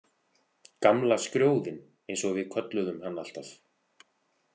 Gamla skrjóðinn, eins og við kölluðum hann alltaf.